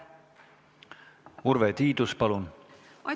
Urve Tiidus, palun!